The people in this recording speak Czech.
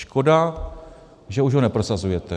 Škoda, že už ho neprosazujete.